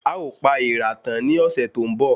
A o pa èèrà tan ni ọsẹ tó ń bo